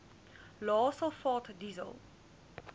lae sulfaat diesel